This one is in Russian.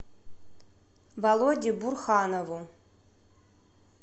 володе бурханову